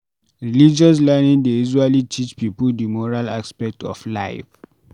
Religious learning dey usually teach pipo di moral aspect of life